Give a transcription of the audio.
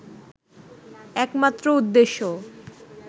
একমাত্র উদ্দেশ্য